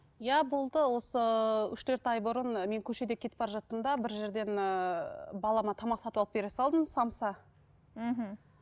иә болды осы үш төрт ай бұрын мен көшеде кетіп бара жаттым да бір жерден ііі балама тамақ сатып алып бере салдым самса мхм